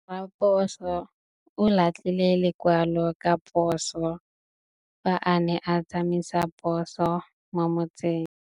Raposo o latlhie lekwalô ka phosô fa a ne a tsamaisa poso mo motseng.